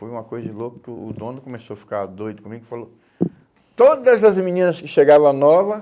Foi uma coisa louca que o dono começou a ficar doido comigo e falou: Todas as meninas que chegavam nova